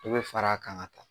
Dɔ bɛ fara a kan ka taa.